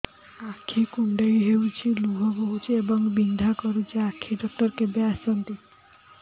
ଆଖି କୁଣ୍ଡେଇ ହେଉଛି ଲୁହ ବହୁଛି ଏବଂ ବିନ୍ଧା କରୁଛି ଆଖି ଡକ୍ଟର କେବେ ଆସନ୍ତି